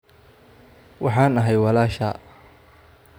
Waxaan ahay walaashaa